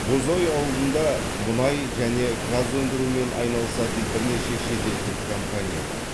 бозой ауылында мұнай және газ өндірумен айналысатын бірнеше шетелдік компания бар